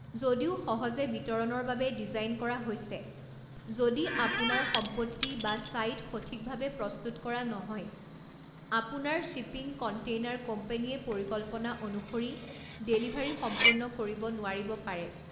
যদিও সহজে বিতৰণৰ বাবে ডিজাইন কৰা হৈছে, যদি আপোনাৰ সম্পত্তি বা ছাইট সঠিকভাৱে প্ৰস্তুত কৰা নহয়, আপোনাৰ শ্বিপিং কণ্টেইনাৰ কোম্পানীয়ে পৰিকল্পনা অনুসৰি ডেলিভাৰী সম্পূৰ্ণ কৰিব নোৱাৰিব পাৰে।